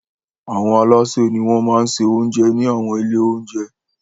Àwọn alásè ni wọ́n máa se oúnjẹ ní àwọn ilé-oúnjẹ.